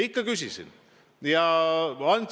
Ikka küsisin!